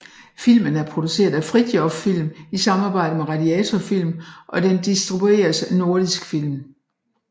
Filmen er produceret af Fridthjof Film i samarbejde med Radiator Film og den distribueres af Nordisk Film